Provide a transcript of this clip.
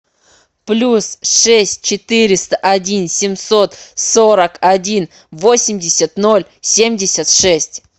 плюс шесть четыреста один семьсот сорок один восемьдесят ноль семьдесят шесть